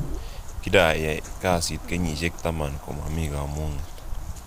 Kiayai kasit kenyishek taman komomii kamung'et